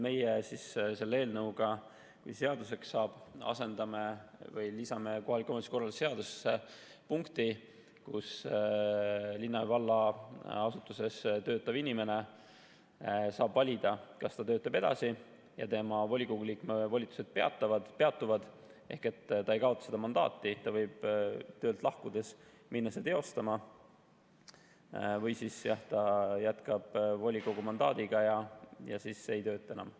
Meie selle eelnõuga, kui see seaduseks saab, lisame kohaliku omavalitsuse korralduse seadusesse punkti, et linna ja valla asutuses töötav inimene saab valida, kas ta töötab edasi ja tema volikogu liikme volitused peatuvad ehk ta ei kaota mandaati, ta võib töölt lahkudes minna seda teostama, või siis jah, ta jätkab volikogu mandaadiga ega tööta enam.